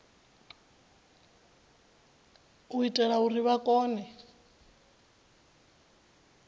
u itela uri vha kone